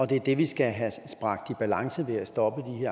det er det vi skal have bragt i balance ved at stoppe de